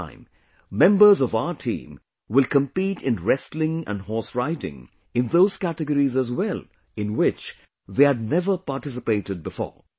This time, members of our team will compete in wrestling and horse riding in those categories as well, in which they had never participated before